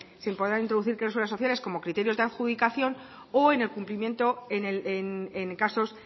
se podrán incluir cláusulas sociales como criterios de adjudicación o en el cumplimiento en casos